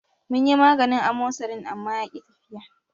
Munyi maganin amosarin amma yaki tafiya.